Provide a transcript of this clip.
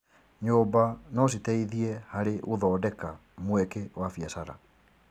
Nyũmba no citeithie harĩ gũthondeka mweke wa biacara.